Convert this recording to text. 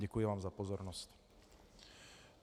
Děkuji vám za pozornost.